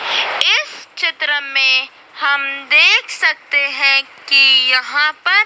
इस चित्र में हम देख सकते हैं कि यहाँ पर--